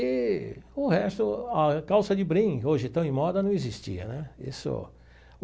E o resto, a calça de brim, hoje estão em moda, não existia né isso.